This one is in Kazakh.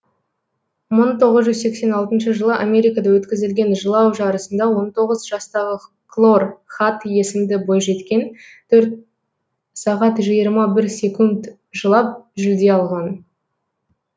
мың тоғыз жүз сексен алтыншы жылы америкада өткізілген жылау жарысында он тоғыз жастағы клор хад есімді бойжеткен төрт сағат жиырма бір секунд жылап жүлде алған